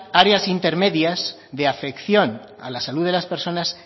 áreas intermedias de afección a la salud de las personas